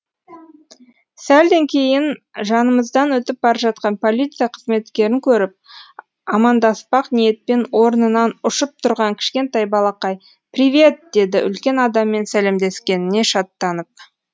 сәлден кейін жанымыздан өтіп бара жатқан полиция қызметкерін көріп амандаспақ ниетпен орнынан ұшып тұрған кішкентай балақай привет деді үлкен адаммен сәлемдескеніне шаттанып